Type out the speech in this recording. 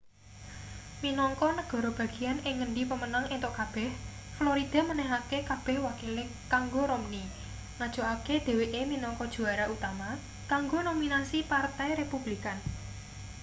minangka negara bagian ing ngendi pemenang entuk kabeh florida menehake kabeh wakile kanggo romney ngajokake dheweke minangka juara utama kanggo nominasi partai republikan